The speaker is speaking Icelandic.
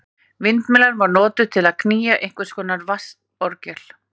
Vindmyllan var notuð til að knýja einhvers konar vatnsorgel.